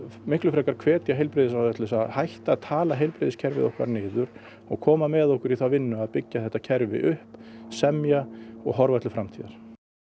frekar hvetja heilbrigðisráðherra til að hætta að tala heilbrigðiskerfið okkar niður og koma með okkur í þá vinnu að byggja þetta kerfi upp semja og horfa til framtíðar